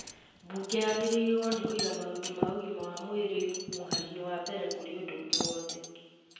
Mbunge yagĩrĩirwo nĩ kũiga maũndũ ma ũgima wa mwirĩ mũhari-inĩ wa mbere kũrĩ ũndũ ũngĩ wothe